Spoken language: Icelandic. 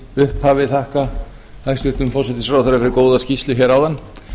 upphafi þakka hæstvirtum forsætisráðherra fyrir góða skýrslu hér áðan þar sem hann